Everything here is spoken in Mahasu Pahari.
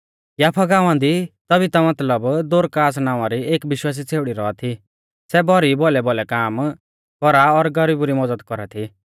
याफा गांवा दी तबीता मतलब दोरकास नावां री एक विश्वासी छ़ेउड़ी रौआ थी सै भौरी भौलैभौलै काम कौरा और गरीबु री मज़द कौरा थी